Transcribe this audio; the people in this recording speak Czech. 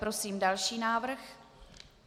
Prosím další návrh.